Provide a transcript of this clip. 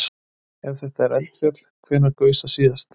Ef þetta er eldfjall, hvenær gaus það síðast?